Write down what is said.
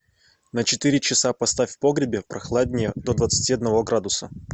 на четыре часа поставь в погребе прохладнее до двадцати одного градуса